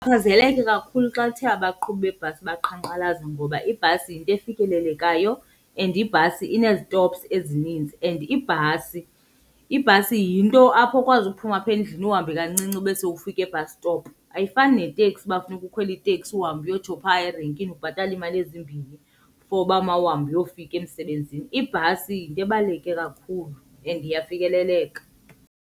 kakhulu xa kuthe abaqhubi beebhasi baqhankqalaza ngoba ibhasi yinto efikelelekayo and ibhasi inezitopsi ezininzi and ibhasi, ibhasi yinto apha okwazi uphuma apha endlini uhambe kancinci ube sowufika e-bus stop. Ayifani neteksi uba kufuneka ukhwele iteksi uhambe uyotsho phaa erenkini ubhatale iimali ezimbini for uba mawuhambe uyofika emsebenzini. Ibhasi yinto ebaluleke kakhulu and iyafikeleleka.